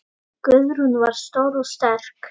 Guðrún var stór og sterk.